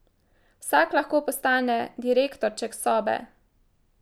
Vsak lahko postane direktorček sobe.